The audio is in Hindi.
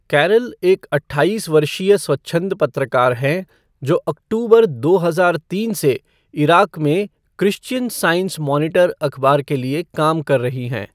कैरल एक अट्ठाईस वर्षीय स्वच्छंद पत्रकार हैं, जो अक्टूबर दो हजार तीन से इराक में क्रिश्चियन साइंस मॉनिटर अखबार के लिए काम कर रही हैं।